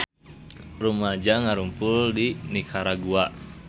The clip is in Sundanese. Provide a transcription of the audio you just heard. Rumaja ngarumpul di Nikaragua